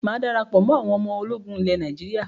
Máa dára pọ̀ mọ́ àwọn ọmọ ológun ilẹ̀ Nàíjírà.